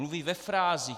Mluví ve frázích.